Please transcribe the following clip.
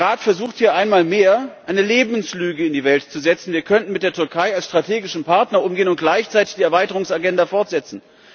Der Rat versucht hier einmal mehr, eine Lebenslüge in die Welt zu setzen, wir könnten mit der Türkei als strategischem Partner umgehen und gleichzeitig die Erweiterungsagenda fortsetzen.